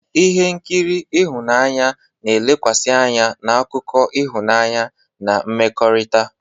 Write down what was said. Ihe nkiri ịhụnanya na-elekwasị anya na akụkọ ịhụnanya na mmekọrịta.